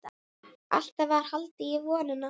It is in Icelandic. Alltaf var haldið í vonina.